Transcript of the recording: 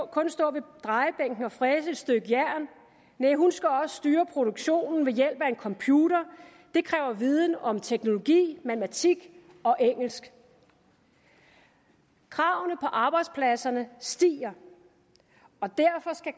kun stå ved drejebænken og fræse et stykke jern hun skal også styre produktionen ved hjælp af en computer det kræver viden om teknologi matematik og engelsk kravene på arbejdspladserne stiger og derfor skal